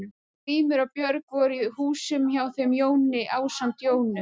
Grímur og Björg voru í húsum hjá þeim Jóni ásamt Jónu